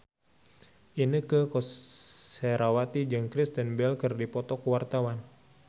Inneke Koesherawati jeung Kristen Bell keur dipoto ku wartawan